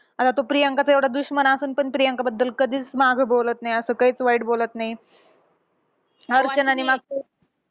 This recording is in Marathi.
आता तो प्रियांकाचा एवढा दुश्मन असून पण प्रियांकाबद्दल कधीच मागं बोलत नाही. असं काहीच वाईट बोलत नाही. अर्चनाने मागे